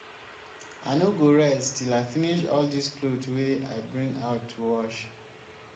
i no go rest till i finish all dis cloth wey i bring out to wash